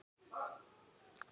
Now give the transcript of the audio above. Ég hlakka því mjög til.